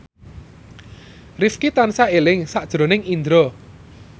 Rifqi tansah eling sakjroning Indro